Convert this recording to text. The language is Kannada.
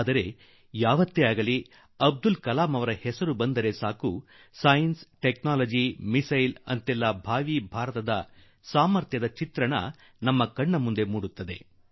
ಆದರೆ ಅಬ್ದುಲ್ ಕಲಾಂ ಜೀ ಅವರ ಹೆಸರು ಬಂದಾಗಲೆಲ್ಲ ವಿಜ್ಞಾನ ತಂತ್ರಜ್ಞಾನ ಕ್ಷಿಪಣಿ ಒಂದು ಭವಿಷ್ಯ ಭಾರತದ ಚಿತ್ರ ನಮ್ಮ ಕಣ್ಣಿನ ಮುಂದೆ ಮೂಡಿ ಬಿಡುತ್ತದೆ